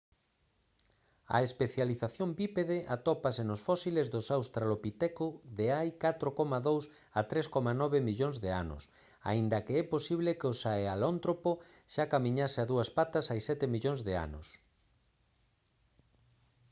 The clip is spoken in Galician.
a especialización bípede atópase nos fósiles dos australopiteco de hai 4,2 a 3,9 millóns de anos aínda que é posible que o sahelántropo xa camiñase a dúas patas hai sete millóns de anos